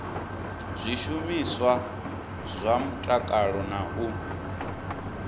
zwishumiswa zwa mutakalo na u